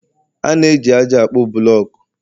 A na-eji ájá akpo buloku